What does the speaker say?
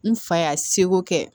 N fa y'a seko kɛ